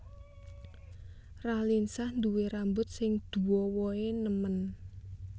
Raline Shah duwe rambut sing duowo e nemen